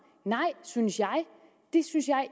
nej synes jeg det synes jeg